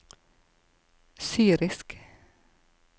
syrisk